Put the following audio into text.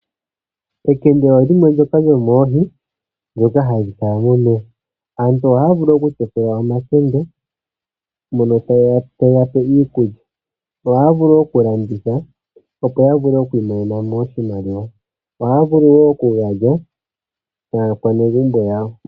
Ekende olyo limwe lyoomoohi ndhoka hadhi kala momeya. Aantu ohaya vulu okutekula omakende mono taye ga pe iikulya. Ohaya vulu wo okulanditha, opo yi imonene mo oshimaliwa. Ohaya vulu wo okuga lya naanegumbo yawo.